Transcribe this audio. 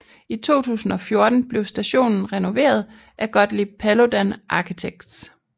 I 2014 blev stationen renoveret af Gottlieb Paludan Architects